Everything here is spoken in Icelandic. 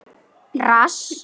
Mig vantar hníf.